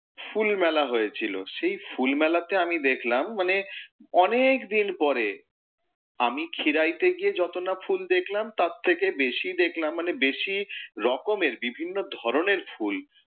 ফুল মেলা হয়েছিলো। সেই ফুল মেলাতে আমি দেখলাম, মানে অনেক দিন পরে, আমি খিরাই তে গিয়ে যত না ফুল দেখলাম তার থেকে বেশী দেখলাম মানে বেশী রকমের বিভিন্ন ধরণের ফুল,